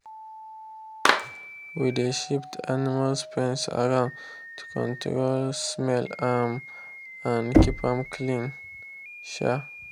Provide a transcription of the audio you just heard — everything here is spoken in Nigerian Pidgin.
we dey shift animal pens around to control smell um and keep am clean. um